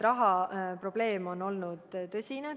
Rahaprobleem on olnud tõsine.